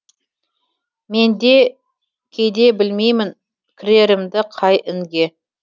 мен де кейде білмеймін кірерімді қай інге